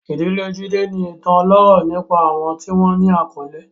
Ìdílé Jide ní ìtàn ọlọ́rọ̀ nípa àwọn tí wọ́n ní àkọlé.